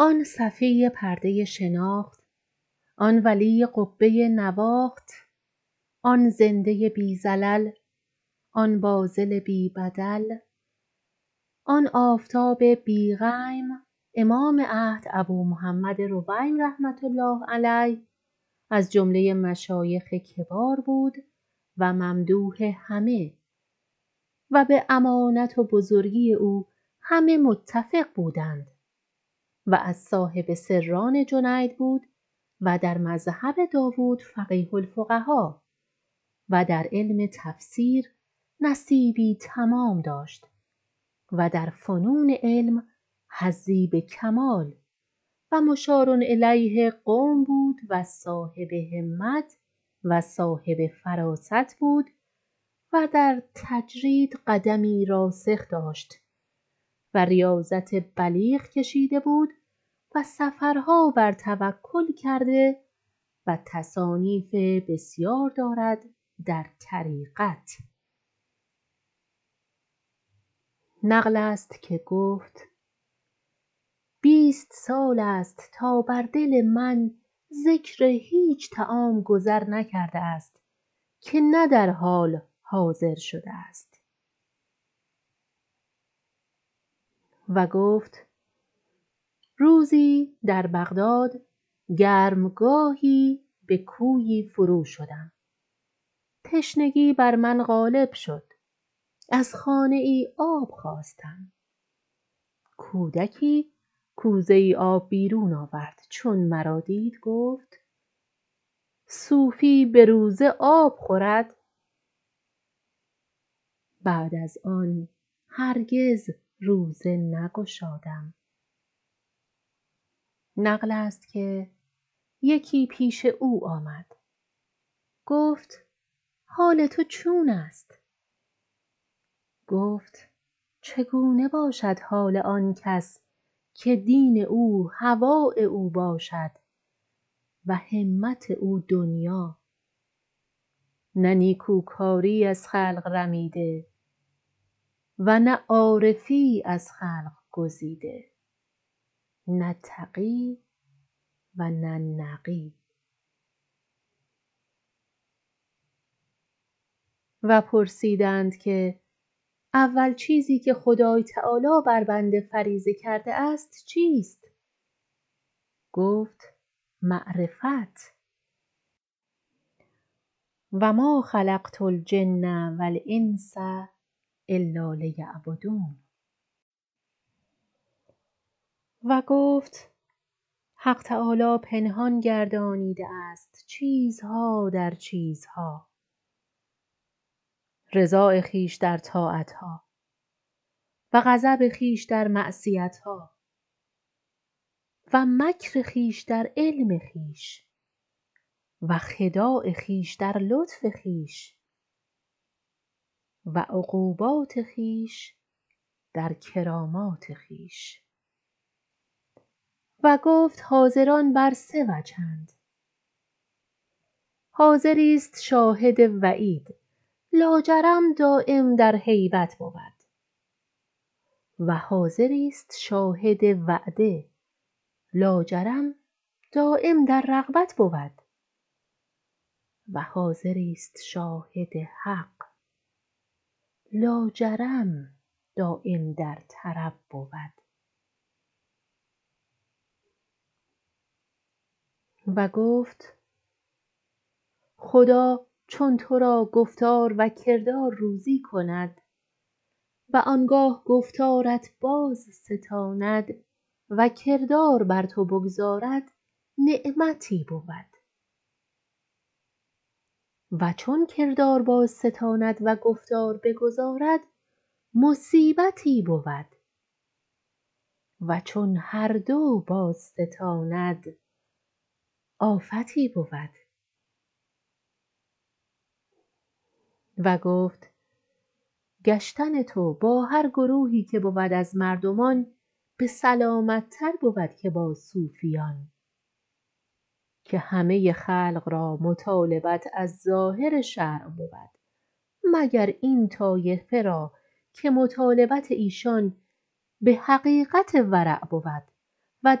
آن صفی پرده شناخت آن ولی قبه نواخت آن زنده بی زلل آن باذل بی بدل آن آفتاب بی غیم امام عهد ابومحمد رویم رحمةالله علیه ازجمله مشایخ کبار بود و ممدوح همه و بامانت و بزرگی او همه متفق بودند و از صاحب سران جنید بود و در مذهب داود فقیه الفقها و در علم تفسیر نصیبی تمام داشت و در فنون علم حظی به کمال و مشارالیه قوم بود و صاحب همت و صاحب فراست بود ودر تجرید قدمی راسخ داشت و ریاضت بلیغ کشیده بود و سفرها بر توکل کرده و تصانیف بسیار دارد در طریقت نقلست که گفت بیست سال است تا بر دل من ذکر هیچ طعام گذر نکرده است که نه در حال حاضر شده است و گفت روزی در بغداد گرم گاهی به کویی فرو شدم تشنگی بر من غالب شد از خانه آب خواستم کودکی کوزه آب بیرون آورد چون مرا دید گفت صوفی بروزه آب خورد بعد از آن هرگز روزه نگشادم نقلست که یکی پیش او آمد گفت حال تو چون است گفت چگونه باشد حال آنکس که دین او هواء او باشدو همت او دنیا نه نیکوکاری از خلق رمیده ونه عارفی از خلق گزیده نه تقی ونه نقی و پرسیدند که اول چیزی که خدای تعالی بربنده فریضه کرده است چیست گفت معرفت و ما خلقت الجن و الانس الالیعبدون و گفت حق تعالی پنهان گردانیده است چیزها در چیزها رضاء خویش در طاعتها و غضب خویش در معصیتها و مکر خویش در علم خویش و خداع خویش در لطف خویش و عقوبات خویش در کرامات خویش و گفت حاضران بر سه وجه اند حاضری است شاهد و عید لاجرم دایم در هیبت بود و حاضریست شاهد وعده لاجرم دایم در رغبت بود وحاضری است شاهد حق لاجرم دایم در طرب بود و گفت خدیا چون ترا گفتار و کردار روزی کند و آنگاه گفتارت بازستاند و کردار بر تو بگذارد نعمتی بود و چون کردار بازستاند وگفتار بگذارد مصیبتی بود وچون هر دو باز ستاند آفتی بود و گفت گشتن تو با هر گروهی که بود از مردمان به سلامت تر بود که با صوفیان که همه خلق را مطالبت از ظاهر شرع بود مگر این طایفه را که مطالبت ایشان به حقیقت ورع بود و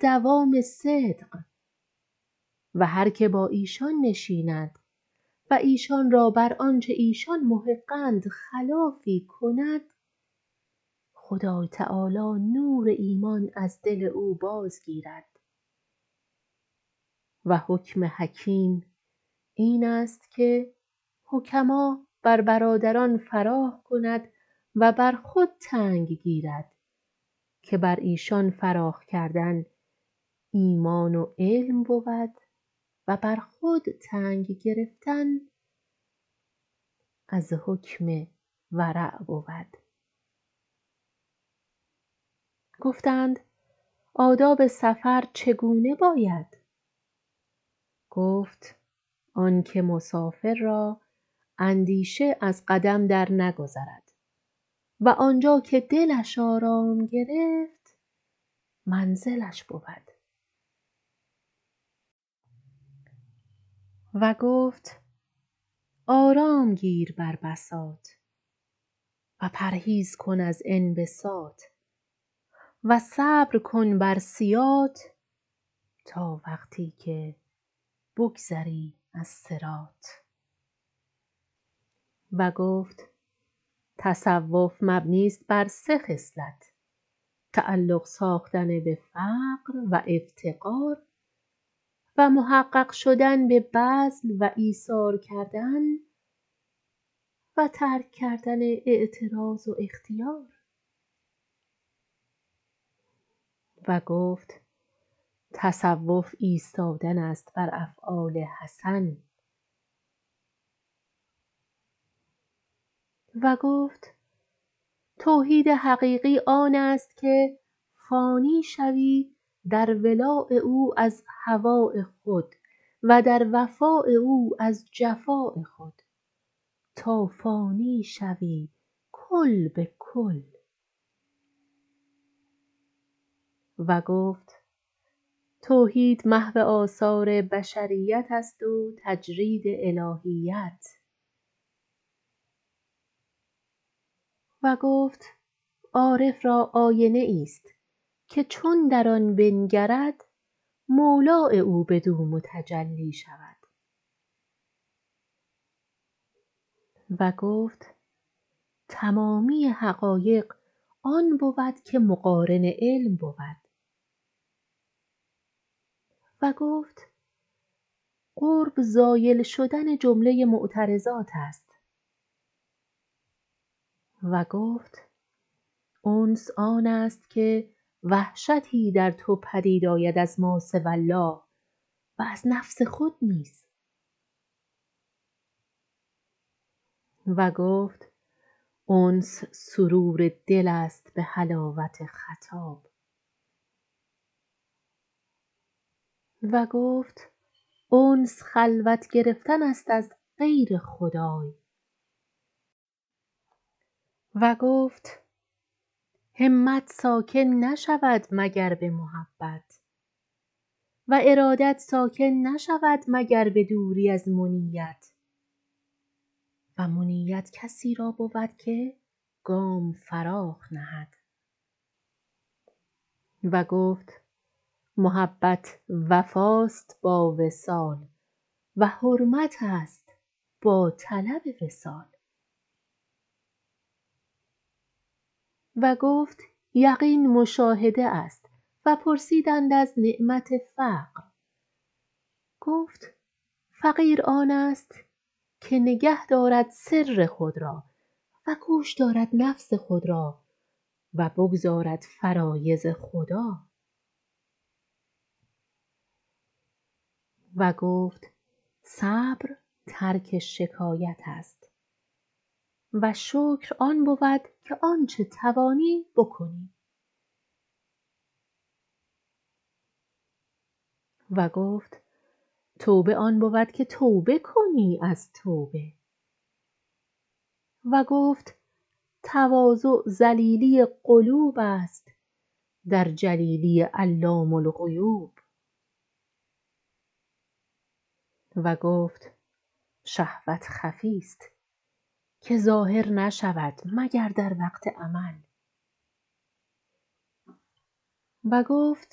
دوام صدق و هر که با ایشان نشیند و ایشان را بر آنچه ایشان محق اند خلافی کند خدای تعالی نور ایمان از دل او باز گیرد و حکم حکیم اینست که حکما بر برادران فراخ کند و بر خود تنگ گیرد که بر ایشان فراخ کردن ایمان و علم بود و بر خود تنگ گرفتن از حکم ورع بود گفتند آداب سفر چگونه باید گفت آنکه مسافر را اندیشه از قدم درنگذرد و آنجا که دلش آرام گرفت منزلش بود وگفت آرام گیر بر بساط و پرهیز کن از انبساط و صبر کن بربرب سیاط تا وقتی که بگذری از صراط و گفت تصوف مبنی است بر سه خصلت تعلق ساختن بفقر و افتقار و محقق شدن به بذل و ایثار کردن و ترک کردن اعتراض و اختیار و گفت تصوف ایستادن است بر افعال حسن و گفت توحید حقیقی آنست که فانی شوی در ولاء او از هواء خود و در وفاء او از جفاء خود تا فانی شوی کل به کل و گفت توحید محو آثار بشریت است وتجرید الهیت و گفت عارف را آینه است که چون در آن بنگرد مولاء او بدومتجلی شود وگفت تمامی حقایق آن بود که مقارن علم بود و گفت قرب زایل شدن جمله متعرضات است و گفت انس آنست که وحشتی در تو پدید آید از ماسوی الله و از نفس خود نیز و گفت انس سرور دل است به حلاوت خطاب و گفت انس خلوت گرفتن است ا زغیر خدای و گفت همت ساکن نشود مگر به محبت و ارادت ساکن نشود مگر به دوری از منیت و منیت کسی را بود که گام فراخ نهد و گفت محبت وفا است با وصال و حرمت است با طلب وصال و گفت یقین مشاهده است و پرسیدند ازنعمت فقر گفت فقیر آنست که نگاه دارد سر خود را و گوش دارد نفس خود را و بگزارد فرایض خدا وگفت صبر ترک شکایت است و شکر آن بود که آنچه توانی بکنی و گفت توبه آن بود که توبه کنی از توبه و گفت تواضع ذلیلی قلوب است در جلیلی علام الغیوب و گفت شهوت خفی است که ظاهر نشود مگر در وقت عمل و گفت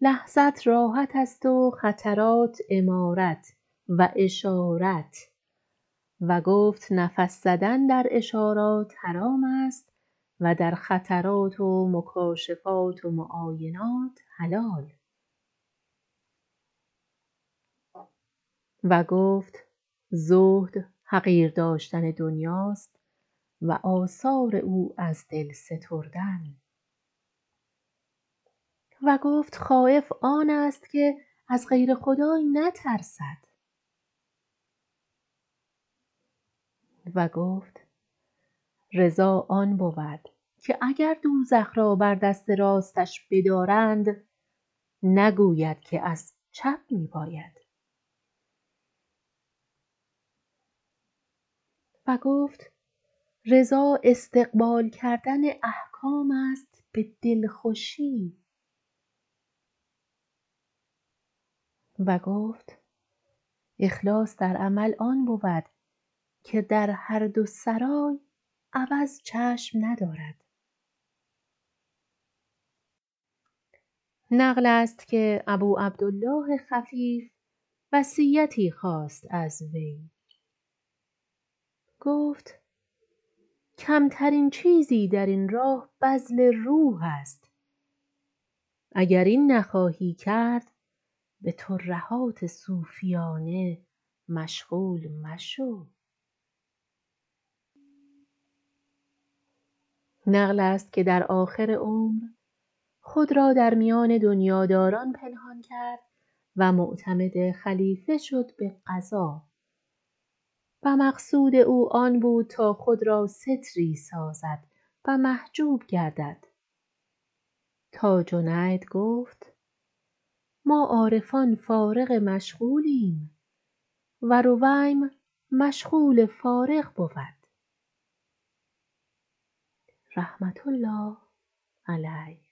لحظت راحت است و خطرات امارت و اشارت و گفت نفس زدن در اشارات حرام است و در خطرات ومکاشفات و معاینات حلال و گفت زهد حقیر داشتن دنیا است وآثار او از دل ستردن و گفت خایف آنست که از غیر خدای نترسد و گفت رضا آن بود که اگردوزخ را بر دست راستش بدارند نگوید که از چپ می باید و گفت رضا استقبال کردن احکام است به دلخوشی و گفت اخلاص در عمل آن بود که درهر دو سرای عوض چشم ندارد نقلست که ابوعبدالله خفیف وصیت خواست از وی گفت کمترین کاری در این راه بذل روح است اگر این نخواهی کرد بترهات صوفیان مشغول مشو نقلست که در آخر عمر خود را در میان دنیاداران پنهان کرد و معتمد خلیفه شد به قضا و مقصود او آن بود که تا خود راستری سازد و محجوب گردد تا جنید گفت ما عارفان فارغ مشغولیم و رویم مشغول فارغ بود رحمةالله علیه